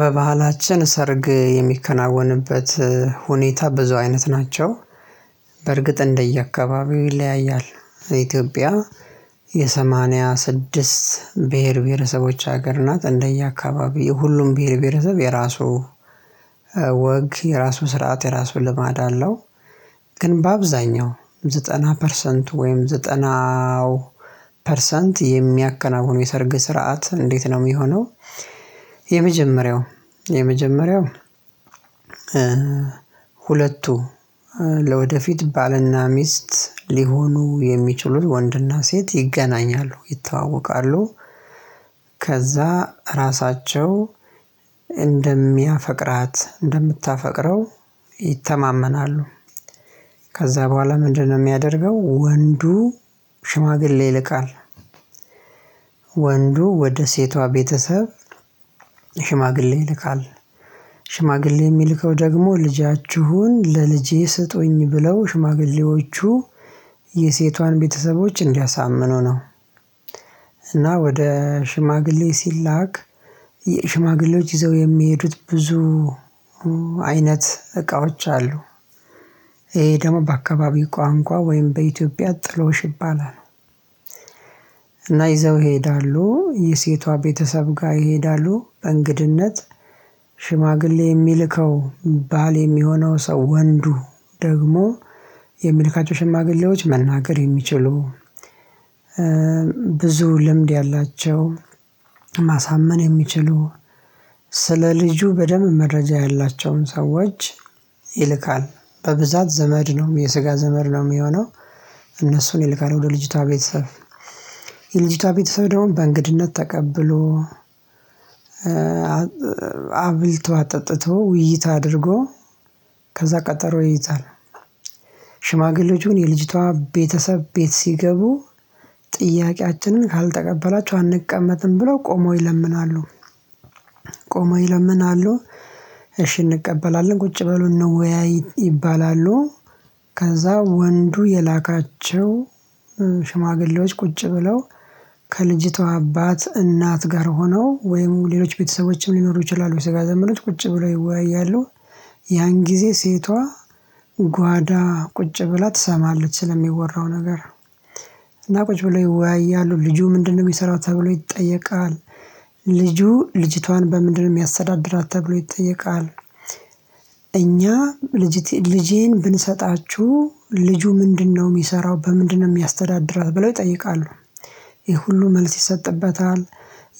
በባህላችን ሰርግ የሚከናወንበት ሁኔታ ብዙ አይነት ናቸው። በእርግጥ እንደየአካባቢው ይለያያል የኢትዮጵያ የሰማንያ ስድስት ብሄር ብሄረሰቦች ሀገር ናት። እንደየአካባቢው ሁሉም ብሄር ብሄረሰብ የራሱ ወግ የራሱ ስርዓት የራሱ ልማድ አለው። ግን በአብዛኛው ዘጠና ፐርሰንት ወይም ዘጠናው ፐርሰንት የሚያከናውኑ የሰርግ ስርዓት እንዴት ነው የሚሆነው? የመጀመሪያው የመጀመሪያው ሁለቱ ለወደፊት ባልና ሚስት ሊሆኑ የሚችሉት ወንድና ሴት ይገናኛሉ ይተዋወቃሉ። ከዛ ራሳቸው እንደሚያፈቅራት እንደምታፈቅረው ይተማመናሉ። ከዛ በኋላ ምንድነው የሚያደርገው? ወንዱ ሽማግሌ ይልካል። ወንዱ ወደ ሴቷ ቤተሰብ ሽማግሌ ይልካል። ሽማግሌ የሚልከው ደግሞ ልጃችሁን ለልጄ ስጡኝ ብለው ሽማግሌዎቹ የሴቷን ቤተሰቦች እንዲያሳምኑ ነው። እና ወደ ሽማግሌ ሲላክ። ሽማግሌዎች ይዘው የሚሄዱት ብዙ አይነት እቃዎች አሉ። ይሄ ደግሞ በአካባቢው ቋንቋ ወይም በኢትዮጵያ ጥሎሽ ይባላል። እና ይዘው ይሄዳሉ የሴቷ ቤተሰብ ጋር ይሄዳሉ በእንግድነት። ሽማግሌ የሚልከው ባል የሚሆነው ሰው ወንዱ ደግሞ የሚልካቸው ሽማግሌዎች መናገር የሚችሉ። ብዙ ልምድ ያላቸው ማሳመን የሚችሉ ስለ ልጁ በደንብ መረጃ ያላቸውን ሰዎች ይልካል። በብዛት ዘመድ ነው የስጋ ዘመድ ነው የሚሆነው። እነሱን ይልካል ወደ ልጅቷ ቤተሰብ። የልጅቷ ቤተሰብ ደግሞ በእንግድነት ተቀብሎ። አብልቶ አጠጥቶ ውይይት አድርጎ ከዛ ቀጠሮ ይይዛል። ሽማግሌዎች ግን የልጅቷ ቤተሰብ ቤት ሲገቡ ጥያቄያችንን ካልተቀበላችሁ አንቀመጥም ብሎ ቆሞ ይለምናሉ። ቆሞ ይለምናሉ እሺ እንቀበላለን ቁጭ በሉ እንወያይ ይባላሉ። ከዛ ወንዱ የላካቸው ሽማግሌዎች ቁጭ ብለው ከልጅቷ አባት እናት ጋር ሆነው ወይም ሌሎች ቤተሰቦችም ሊኖሩ ይችላሉ የስጋ ዘመዶች ቁጭ ብሎ ይወያያሉ። ያን ጊዜ ሴቷ ጓዳ ቁጭ ብላ ትሰማለች ስለሚወራው ነገር። እና ቁጭ ብሎ ይወያያሉ ልጁ ምንድነው የሚሰራው ተብሎ ይጠየቃል? ልጁ ልጅቷን በምንድነው የሚያስተዳድራት ተብሎ ይጠየቃል? እኛ ልጄን ብንሰጣችሁ ልጁ ምንድነው የሚሰራው በምንድነው የሚያስተዳድራት ብለው ይጠይቃሉ? ይህ ሁሉ መልስ ይሰጥበታል።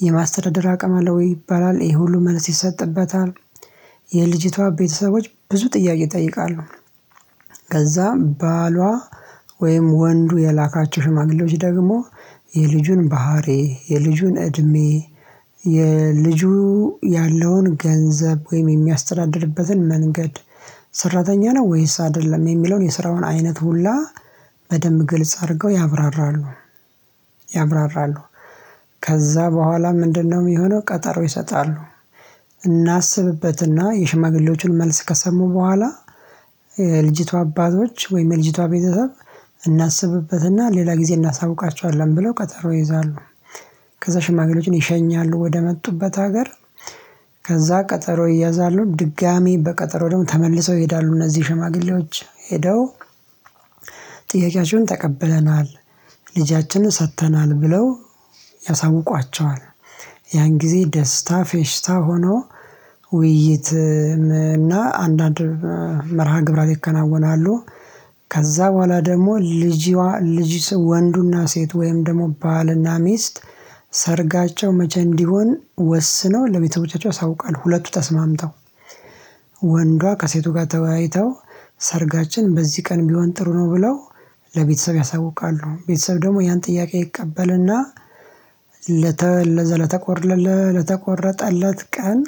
የማስተዳደር አቅም አለ ወይ ይባላል? ይህ ሁሉ መልስ ይሰጥበታል። የልጅቷ ቤተሰቦች ብዙ ጥያቄ ይጠይቃለሁ። ከዛ ባሏ ወይም ወንዱ የላካቸው ሽማግሌዎች ደግሞ የልጁን ባህሪ የልጁን እድሜ የልጁ ያለውን ገንዘብ ወይም የሚያስተዳድርበትን መንገድ ሰራተኛ ነው ወይስ አይደለም የሚለውን የስራውን አይነት ሁላ በደንብ ግልጽ አድርገው ያብራራሉ። ያብራራሉ ከዛ በኋላ ምንድነው የሚሆነው? ቀጠሮ ይሰጣሉ። እናስብበትና የሽማግሌዎቹን መልስ ከሰሙ በኋላ የልጅቷ አባቶች ወይም የልጅቷ ቤተሰብ እናስብበትና ሌላ ጊዜ እናሳውቃቸዋለን ብለው ቀጠሮ ይይዛሉ። ከዛ ሽማግሌዎችን ይሸኛሉ ወደመጡበት ሀገር። ከዛ ቀጠሮ ይያዛሉ ድጋሚ በቀጠሮ ደግሞ ተመልሰው ይሄዳሉ እነዚህ ሽማግሌዎች ሄደው። ጥያቄያቸውን ተቀብለናል ልጃችንን ሰጥተናል ብለው ያሳውቋቸዋል። ያን ጊዜ ደስታ ፌሽታ ሆኖ ውይይት እና አንዳንድ መርሃ ግብራት ይከናወናሉ። ከዛ በኋላ ደግሞ ልጅዋ ልጅ ወንዱና ሴት ወይም ደግሞ ባልና ሚስት ሰርጋቸው መቼ እንዲሆን ወስነው ለቤተሰቦቻቸው ያሳውቃሉ። ሁለቱ ተስማምተው ወንዱ ከሴቱ ጋር ተወያይተው ሰርጋችን በዚህ ቀን ቢሆን ጥሩ ነው ብለው ለቤተሰብ ያሳውቃሉ። ቤተሰብ ደግሞ ያን ጥያቄ ይቀበልና። ለተቆረጠለት ቀን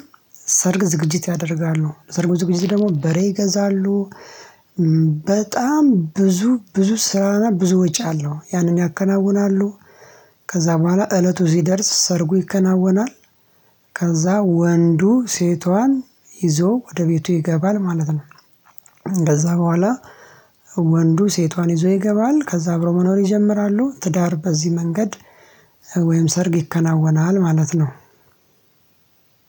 ሰርግ ዝግጅት ያደርጋሉ ሰርጉ ዝግጅት ደግሞ በሬ ይገዛሉ። በጣም ብዙ ብዙ ስራና ብዙ ወጪ አለው ያንን ያከናውናሉ። ከዛ በኋላ እለቱ ስደርስ ሰርጉ ይከናወናል። ከዛ ወንዱ ሴቷን ይዞ ወደ ቤቱ ይገባል ማለት ነው። ከዛ በኋላ ወንዱ ሴቷን ይዞ ይገባል ከዛ አብሮ መኖር ይጀምራሉ ትዳር በዚህ መንገድ። ወይም ሰርግ ይከናወናል ማለት ነው።